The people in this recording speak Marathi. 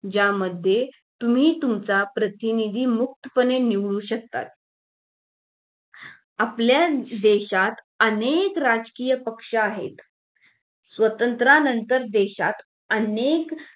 ज्यामध्ये तुम्ही तुमचा प्रतिनिधी मुक्तपने निवडू शकता आपल्या देशात अनेक राजकीय पक्ष आहेत स्वातंत्र्यानंतर देशात अनेक